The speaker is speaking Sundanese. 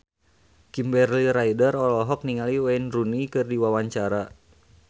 Kimberly Ryder olohok ningali Wayne Rooney keur diwawancara